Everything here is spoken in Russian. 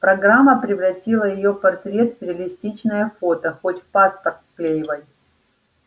программа превратила её портрет в реалистичное фото хоть в паспорт вклеивай